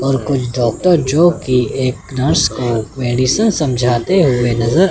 और कुछ डॉक्टर जोकि एक नर्स को मेडिसिन समझाते हुए नजर--